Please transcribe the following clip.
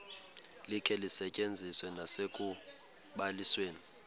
likhe lisetyenziswe nasekubalisweni